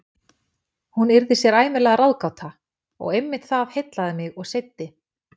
Hún yrði sér ævinlega ráðgáta- og einmitt það heillaði mig og seiddi.